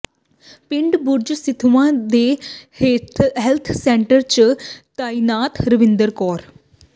ਪਿੰਡ ਬੁਰਜ ਸਿੱਧਵਾਂ ਦੇ health centre ਚ ਤਾਇਨਾਤ ਰਵਿੰਦਰ ਕੌਰ